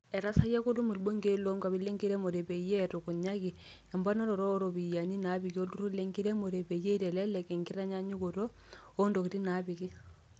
Etasayia Kolum ilbungei loonkuapi enkiremore peyie etukunyaki emponaroto ooropiyiani naapiki olturur le nkiremore peyie itelelek e nkinyangunoto oo ntokini naapiki.